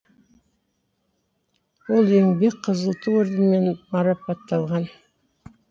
ол еңбек қызыл ту орденімен марапатталған